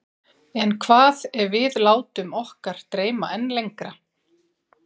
En hvað ef við látum okkar dreyma enn lengra?